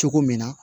Cogo min na